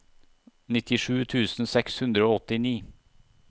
nittisju tusen seks hundre og åttini